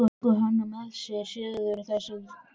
Þeir tóku hann með sér suður, þessir frá tækni